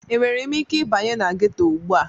Enwere m ike ịbanye na ghetọ ugbu a?